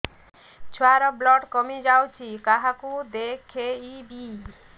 ଛୁଆ ର ବ୍ଲଡ଼ କମି ଯାଉଛି କାହାକୁ ଦେଖେଇବି